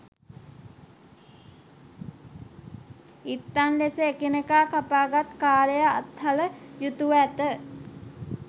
ඉත්තන් ලෙස එකිනෙකා කපාගත් කාළය අත් හල යුතුව ඇත